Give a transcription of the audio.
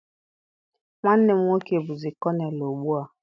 Nwanne m nwoke bụzi konel ugbu a.